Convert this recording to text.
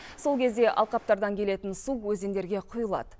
сол кезде алқаптардан келетін су өзендерге құйылады